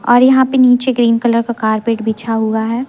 और यहां पे नीचे ग्रीन कलर का कार्पेट बिछा हुआ हैं।